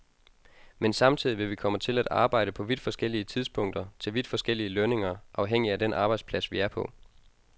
Men samtidig vil vi komme til at arbejde på vidt forskellige tidspunkter til vidt forskellige lønninger, afhængig af den arbejdsplads, vi er på.